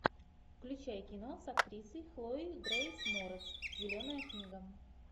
включай кино с актрисой хлоя грейс морец зеленая книга